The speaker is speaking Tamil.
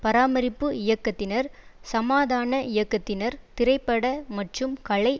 பராமரிப்பு இயக்கத்தினர் சமாதான இயக்கத்தினர் திரைப்பட மற்றும் கலை